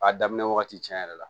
A daminɛ wagati tiɲɛ yɛrɛ la